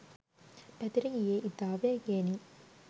පැතිර ගියේ ඉතා වේගයෙනි.